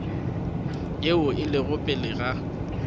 yeo e lego pele ga